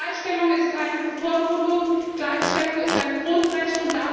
Gleichstellung ist keine Bevormundung, Gleichstellung ist ein Grundrecht.